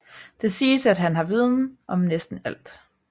Det siges at han har viden om næsten alt